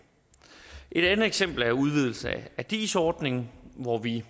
et andet eksempel er udvidelse af dis ordningen hvor vi i